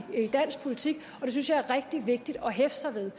dansk politik og det synes jeg er rigtig vigtigt at hæfte sig ved